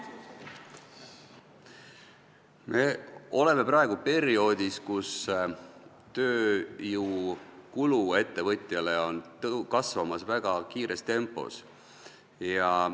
Me oleme praegu perioodis, kui ettevõtja tööjõukulud on väga kiires tempos kasvamas.